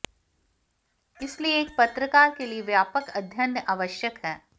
इसलिए एक पत्रकार के लिए व्यापक अध्ययन आवश्यक है